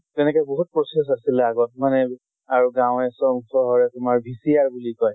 তেনেকে বহুত process আছিলে আগত মানে আৰু গাঁৱে চ চহৰে তোমাৰ VCR বুলি কয়